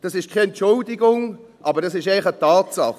Das ist keine Entschuldigung, aber es ist einfach eine Tatsache.